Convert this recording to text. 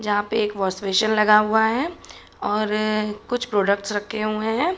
जहां पे एक वॉश बेसिंग लगा हुआ है और कुछ प्रोडक्टस रखे हुए हैं।